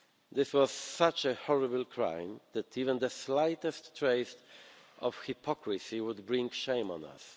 This was such a horrible crime that even the slightest trace of hypocrisy would bring shame on